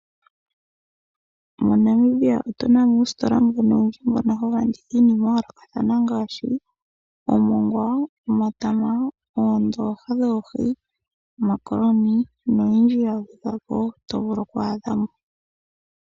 Mo Namibia otuna mo uusitola mbuno owundji mbono hawu landitha iinima ya yoolokathana ngaashi omongwa, omatama, oondoha dhoohi, omakoloni noyindji ya gwedhwa po to vulu okwa adha mo.